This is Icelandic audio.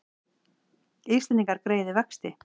Íslendingar greiði vexti